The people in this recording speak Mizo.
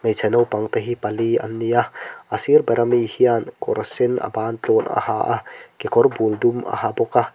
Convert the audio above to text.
hmeichhe naupang te pali an ni a a sir bera mi hian kawr sen a ban tluan a ha a kekawr bul dum a ha bawk a.